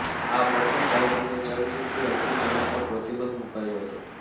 આ પ્રથમ ભારતીય ચલચિત્ર હતું જેના પર પ્રતિબંધ મુકાયો હતો